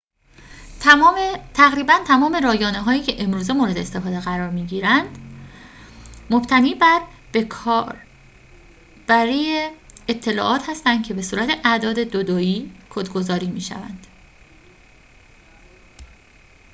تقریباً تمام رایانه‌هایی که امروزه مورد استفاده قرار می‌گیرد مبتنی بر به‌کار بری اطلاعات هستند که به صورت اعداد دو دویی کدگذاری می‌شوند